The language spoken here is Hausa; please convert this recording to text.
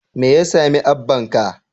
Me ya sami abbanka?